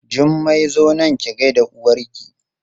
Jummai zo nan ki gaida uwarki!